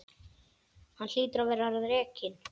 Hann hlýtur að verða rekinn.